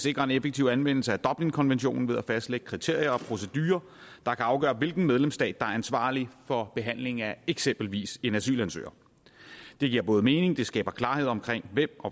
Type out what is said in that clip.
sikrer en effektiv anvendelse af dublinkonventionen ved at fastlægge kriterier og procedurer der kan afgøre hvilken medlemsstat der ansvarlig for behandlingen af eksempelvis en asylansøger det giver både mening og skaber klarhed om